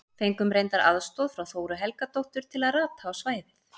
Fengum reyndar aðstoð frá Þóru Helgadóttur til að rata á svæðið.